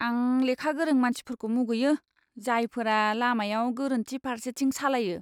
आं लेखा गोरों मानसिफोरखौ मुगैयो, जायफोरा लामायाव गोरोन्थि फारसेथिं सालायो!